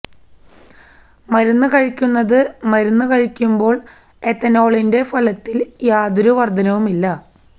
മരുന്ന് കഴിക്കുന്നത് മരുന്ന് കഴിക്കുമ്പോൾ എത്തനോളിന്റെ ഫലത്തിൽ യാതൊരു വർദ്ധനവുമില്ല